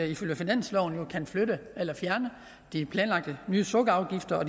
ifølge finansloven jo kan flytte eller fjerne de planlagte nye sukkerafgifter og